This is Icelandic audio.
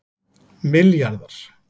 milljarðar